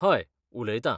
हय, उलयतां.